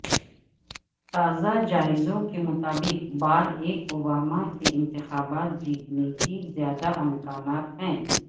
تازہ جائزوں کے مطابق باراک اوباما کے انتخابات جیتنے کے زیادہ امکانات ہیں